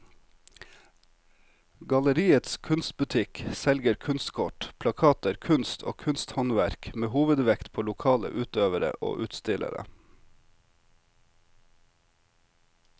Galleriets kunstbutikk selger kunstkort, plakater, kunst og kunsthåndverk med hovedvekt på lokale utøvere og utstillere.